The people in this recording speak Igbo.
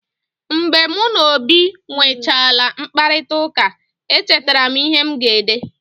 Mgbe mụ na Obi nwechaala mkparịtaụka, echetara m ihe m ga-ede.